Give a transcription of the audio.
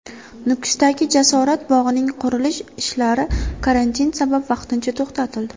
Nukusdagi Jasorat bog‘ining qurilish ishlari karantin sabab vaqtincha to‘xtatildi.